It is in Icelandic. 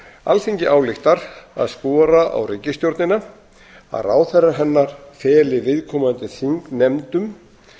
alþingi ályktar að skora á ríkisstjórnina að ráðherrar hennar feli viðkomandi þingnefndum